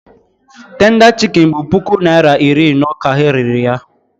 Tenda chikin bụ puku naịra iri ino ka ha rere ya.